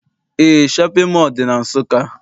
Eé, shọpịn mọọ dị na Nsụka.